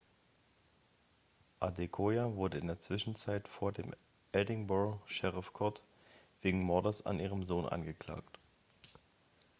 adekoya wurde in der zwischenzeit vor dem edinburgh sheriff court wegen mordes an ihrem sohn angeklagt